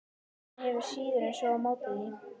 Hann hefur síður en svo á móti því.